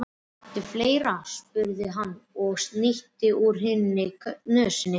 Kanntu fleira, spurði hann og snýtti úr hinni nösinni.